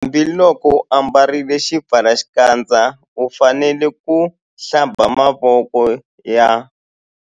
Hambiloko u ambarile xipfalaxikandza u fanele ku - Hlamba mavoko ya.